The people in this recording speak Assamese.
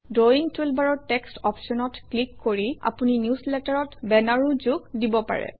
ড্ৰয়িং টুলবাৰৰ টেক্সট অপশ্যনত ক্লিক কৰি আপুনি নিউজলেটাৰত বেনাৰো যোগ দিব পাৰে